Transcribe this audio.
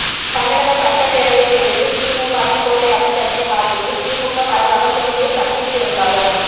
தமிழக சட்டப்பேரவைத் தேர்தலில் திமுகவின் கோட்டையாக சென்னை மாறுகிறது திமுக பரவலாக தோல்லியை சந்தித்திருந்தாலும்